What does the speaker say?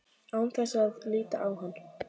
Án þess að líta á hann.